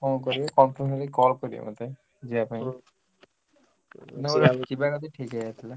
କଣ କରିବ confirm ହେଲେ call କରିବ ମତେ ଯିବା ପାଇଁ ଯିବା ଯଦି ଠିକ ହେଇଯାଇଥିଲା।